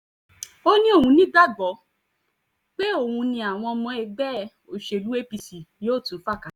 ó ní òun nígbàgbọ́ pé òun ni àwọn ọmọ ẹgbẹ́ òṣèlú apc yóò tún fa kalẹ̀